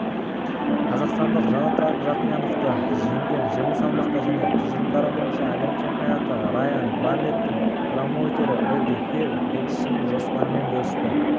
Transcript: қазақстандық жанат жақияновты жеңген жеңіл салмақта және тұжырымдары бойынша әлем чемпионы райан барнеттің промоутері эдди хирн боксшының жоспарымен бөлісті